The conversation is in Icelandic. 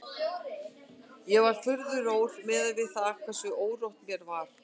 Ég var furðu rór miðað við það hversu órótt mér var.